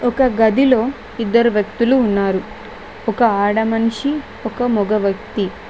ఒక గదిలో ఇద్దరు వ్యక్తులు ఉన్నారు ఒక ఆడ మనిషి ఒక మగ వ్యక్తి.